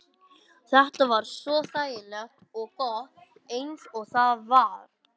Þetta var svo þægilegt og gott eins og það var.